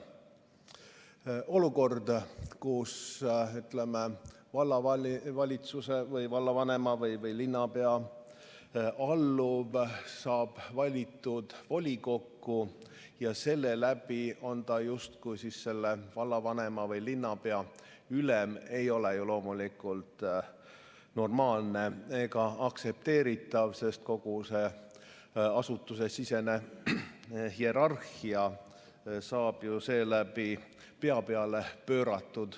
Olukord, kus vallavalitsuse või vallavanema või linnapea alluv saab valitud volikokku ja selle läbi on ta justkui selle vallavanema või linnapea ülem, ei ole ju loomulikult normaalne ega aktsepteeritav, sest kogu asutusesisene hierarhia saab seeläbi pea peale pööratud.